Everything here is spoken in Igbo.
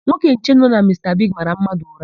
Nwoke nche nọ na Mista Bigi mara mmadụ ụra.